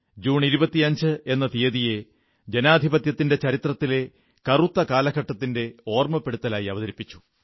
June 25 എന്ന തീയ്യതിയെ ജനാധിപത്യത്തിന്റെ ചരിത്രത്തിലെ കറുത്ത കാലഘട്ടത്തിന്റെ ഓർമ്മപ്പെടുത്തലായി അവതരിപ്പിച്ചു